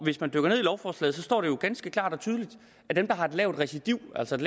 hvis man dykker ned i lovforslaget jo står ganske klart og tydeligt at dem der har et lavt recidiv altså et